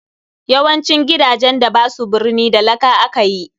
YAwancin gidajen da basu birni da laka akayi.